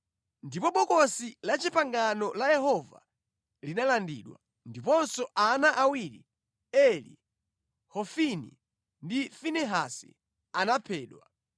Ndipo Bokosi la Chipangano la Yehova linalandidwa, ndiponso ana awiri Eli, Hofini ndi Finehasi anaphedwa.